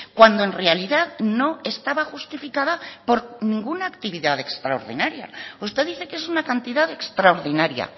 cuando en realidad no estaba justificada por ninguna actividad extraordinaria usted dice que es una cantidad extraordinaria